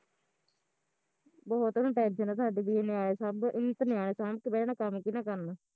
ਬਹੁਤ ਉਹਨੂੰ tension ਆ ਸਾਡੀ ਵੀ ਇਹ ਨਿਆਣੇ ਸਾਂਬ ਇਹਨੀਂ ਤਾਂ ਨਿਆਣੇ ਸਾਂਬ ਕੇ ਬਹਿ ਜਾਣਾ ਕੰਮ ਕਿਹਨੇ ਕਰਨਾ